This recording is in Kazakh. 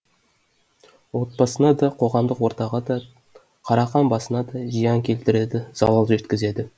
отбасына да қоғамдық ортаға да қарақан басына да зиян келтіреді залал жеткізеді